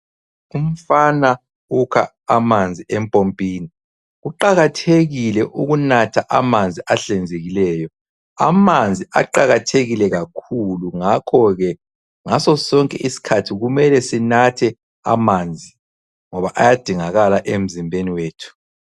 Umfana ukha amanzi empompini. Kuqakathekile ukunatha amanzi ahlanzekileyo. Amanzi aqakathekile kakhulu ngakho ke ngaso sonke isikhathi kumele sinathe amanzi ngoba ayadingakala emzimbeni wethu.